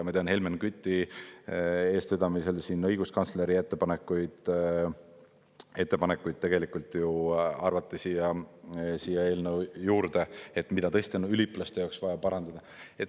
Ma tean, Helmen Küti eestvedamisel siin õiguskantsleri ettepanekuid tegelikult ju arvati siia eelnõu juurde, mida tõesti on üliõpilaste jaoks vaja parandada.